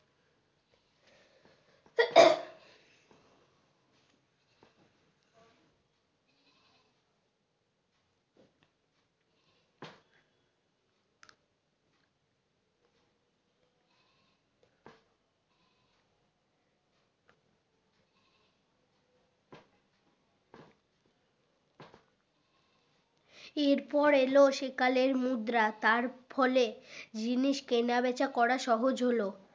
এর পর এল সে কালের মুদ্রা তার ফলে জিনিস কেনা বেচা করা সহজ হলো